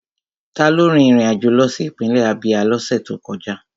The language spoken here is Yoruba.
Taló rin ìrìn àjò lọ sí ìpínlẹ̀ Ábíá ní ọ̀sẹ̀ tó kọjá?